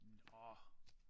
Nåh